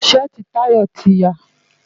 Ṣẹ́ẹ̀tì Tayo ti ya.